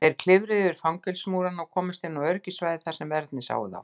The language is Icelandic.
Þeir klifruðu yfir fangelsismúrana og komust inn á öryggissvæði þar sem verðirnir sáu þá.